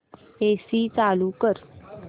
AC चालू कर